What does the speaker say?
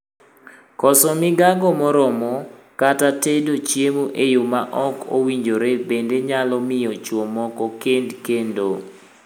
Koso migago moromo, kata tedo chiemo e yoo ma ok owinjore bende nyalo miyo chwo moko kend kendo.